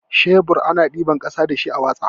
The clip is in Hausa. Shebur ana ɗiban ƙasa dashi a watsa.